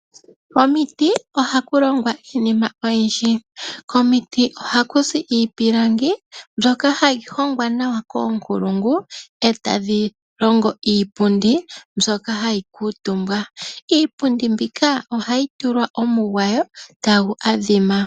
Omiiti ohaku longwa iinima oyindji. Komiiti ohaku zi iipilangi mbyoka hayi hongwa nawa koonkulungu etadhi longo iipundi mbyoka hayi kuutumbwa. Iipundi mbika ohayi tulwa omugwawo tagu adhima.